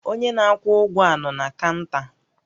Onye na-akwụ ụgwọ a nọ na kaụnta?